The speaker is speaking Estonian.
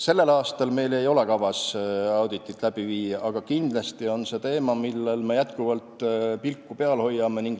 Sellel aastal meil ei ole kavas auditit läbi viia, aga kindlasti on see teema, millel me jätkuvalt pilku peal hoiame.